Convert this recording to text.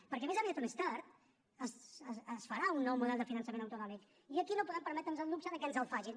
perquè més aviat o més tard es farà un nou model de finançament autonòmic i aquí no podem permetre’ns el luxe de que ens el facin